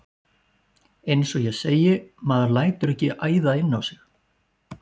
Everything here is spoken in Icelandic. Eins og ég segi. maður lætur ekki æða inn á sig!